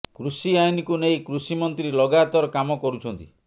କୃଷି ଆଇନକୁ ନେଇ କୃଷି ମନ୍ତ୍ରୀ ଲଗାତର କାମ କରୁଛନ୍ତି